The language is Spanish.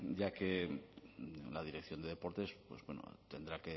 ya que la dirección de deportes pues bueno tendrá